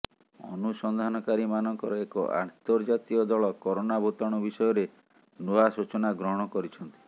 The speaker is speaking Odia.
ଅନୁସନ୍ଧାନ କାରୀମାନଙ୍କର ଏକ ଆନ୍ତର୍ଜାତୀୟ ଦଳ କରୋନା ଭୂତାଣୁ ବିଷୟରେ ନୂଆ ସୂଚନା ଗ୍ରହଣ କରିଛନ୍ତି